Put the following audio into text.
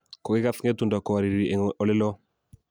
kokikas ng'etundo kowariri eng oleloo